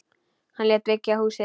Hann lét byggja húsið.